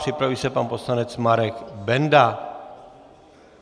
Připraví se pan poslanec Marek Benda.